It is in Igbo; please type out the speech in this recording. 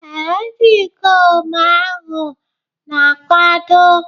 Ee, ndị ikom ahụ na-akwado.